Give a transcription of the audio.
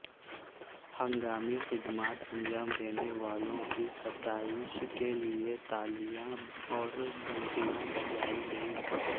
ہنگامی خدمات انجام دینے والوں کی ستائش کیلئے تالیاں اور گھنٹیاں بجائی گئیں